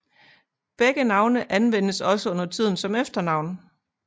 Begge navne anvendes også undertiden som efternavn